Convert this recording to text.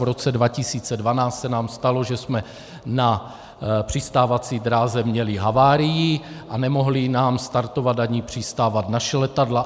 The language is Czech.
V roce 2012 se nám stalo, že jsme na přistávací dráze měli havárii a nemohly nám startovat ani přistávat naše letadla.